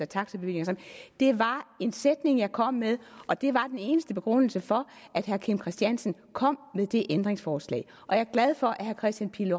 taxabevillinger sammen det var en sætning jeg kom med og det var den eneste begrundelse for at herre kim christiansen kom med det ændringsforslag og jeg er glad for at herre kristian pihl